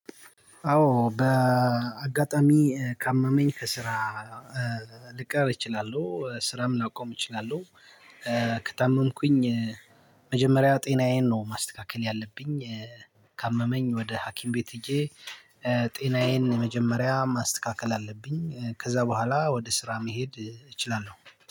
አዎ በአጋጣሚ ካመመኝ ከስራ ልቀር እችላለሁ ስራም ላቆም እችላለሁ። ከታመምኩኝ መጀመሪያ ጤናዬን ነው ማስተካከል ያለብኝ ካመመኝ ወደ ሀኪም ቤት ሄጄ። ጤናየን የመጀመሪያ ማስተካከል አለብኝ ከዛ በኋላ ወደ ስራ መሄድ እችላለሁ።